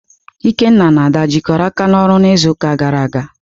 Ikenna na Ada jikọrọ aka n'ọrụ n'izuụka gara aga?